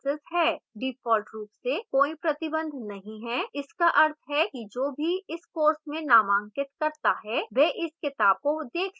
default रूप से कोई प्रतिबंध नहीं है इसका अर्थ है कि जो भी इस course में नामांकित करता है वह इस किताब को देख सकेगा